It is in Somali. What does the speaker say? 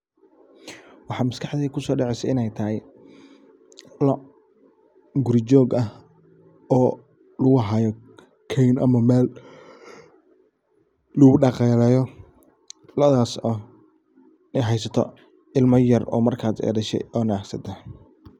Maxa makaxdeyda kuso dacesa iney tahay loc guri jog ah. Oo lagu hayo keyma ama mel lagu dhaqaleyo lodas oo heysato imo yar oo marka hada ay dashe oo daxsan.